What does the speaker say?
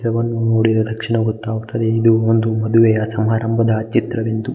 ವನ್ನು ನೋಡಿದ ತಕ್ಷಣ್ ಗೊತ್ತಾಗುತ್ತದೆ ಇದು ಒಂದು ಮದುವೆಯ ಸಮಾರಂಭದ ಒಂದು ಚಿತ್ರವೆಂದು.